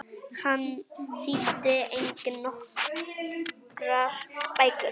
Hann þýddi einnig nokkrar bækur.